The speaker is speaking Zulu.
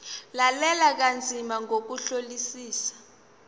lalela kanzima ngokuhlolisisa